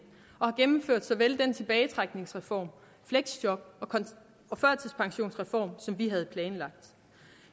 og har gennemført tilbagetrækningsreformen og fleksjob og førtidspensionsreformen som vi havde planlagt